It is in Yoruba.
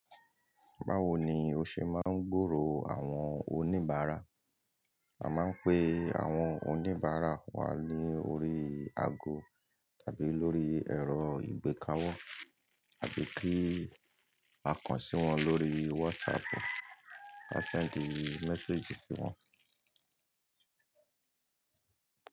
Báwo ni o ṣe máa ń gbòòrò àwọn oníbàárà? A máa ń pe àwọn oníbàárà wa lórí ago tàbí lórí ẹ̀rọ ìgbéka wo àbí kí a kàn sí wọn lórí WhatsApp, a send message sí wọn.